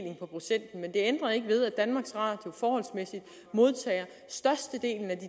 ændrer ikke ved at danmarks radio forholdsmæssigt modtager størstedelen af de